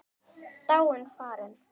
Dáin, farin.